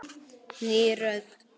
Ný rödd.